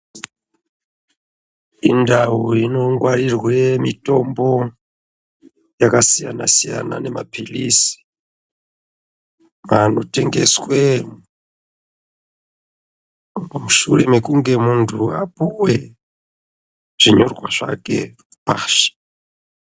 Indau inongwarirwe mitombo yakasiyana siyana nemaphilizi anotengeswe mushure mekunge muntu apuwe zvinyorwa zvake.